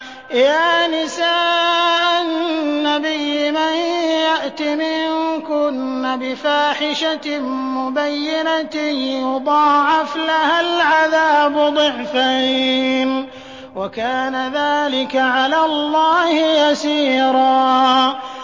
يَا نِسَاءَ النَّبِيِّ مَن يَأْتِ مِنكُنَّ بِفَاحِشَةٍ مُّبَيِّنَةٍ يُضَاعَفْ لَهَا الْعَذَابُ ضِعْفَيْنِ ۚ وَكَانَ ذَٰلِكَ عَلَى اللَّهِ يَسِيرًا